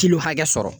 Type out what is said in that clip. Kiliw hakɛ sɔrɔ